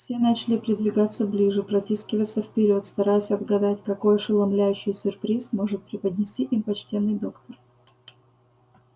все начали придвигаться ближе протискиваться вперёд стараясь отгадать какой ошеломляющий сюрприз может преподнести им почтенный доктор